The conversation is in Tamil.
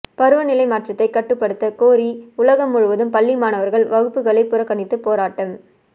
பருவநிலை மாற்றத்தை கட்டுப்படுத்த கோரி உலகம் முழுவதும் பள்ளி மாணவர்கள் வகுப்புகளை புறக்கணித்து போராட்டம்